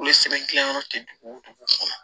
Olu ye sɛbɛn gilan yɔrɔ tɛ dugu wo dugu kɔnɔ